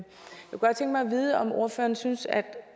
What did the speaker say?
vide om ordføreren synes at